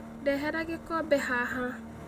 Ndehera gĩkombe haha